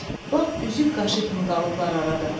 Lap üzük qaşı kimi qalıblar arada.